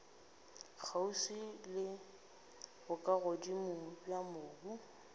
kgauswi le bokagodimo bja mobu